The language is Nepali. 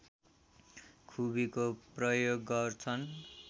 खुबीको प्रयोग गर्छन्